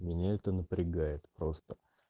меня это напрягает просто